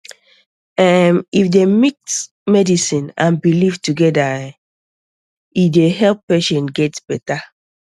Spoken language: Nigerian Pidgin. erm if dem mix medicine and belief together erm e dey help patients get better